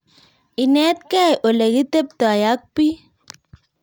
Inetkei olekiteptoi ak biik